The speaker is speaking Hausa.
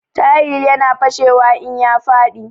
Tayal ya na fashewa in ya faɗi